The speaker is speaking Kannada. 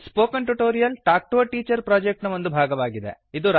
spoken tutorial talk to a teacher project ನ ಒಂದು ಭಾಗವಾಗಿದೆ